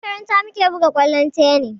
A makaranta mu ke buga kwallon tennis